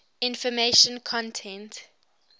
information content